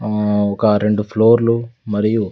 ఆ ఒక రెండు ఫ్లోర్లు మరియు--